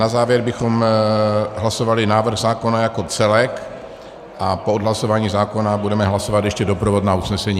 Na závěr bychom hlasovali návrh zákona jako celek a po odhlasování zákona budeme hlasovat ještě doprovodné usnesení.